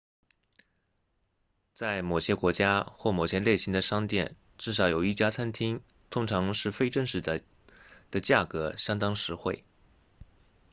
在某些国家或某些类型的商店至少有一家餐厅通常是非正式的的价格相当实惠